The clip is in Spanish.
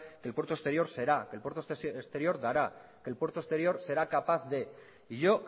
que el puerto exterior será que el puerto exterior dará que el puerto exterior será capaz de y yo